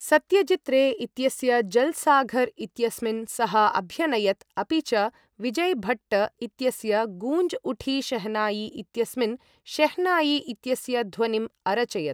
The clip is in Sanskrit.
सत्यजित् रे इत्यस्य जल्साघर् इत्यस्मिन् सः अभ्यनयत् अपि च विजय् भट्ट् इत्यस्य गूंज उठी शहनाई इत्यस्मिन् शेह्नायी इत्यस्य ध्वनिम् अरचयत्।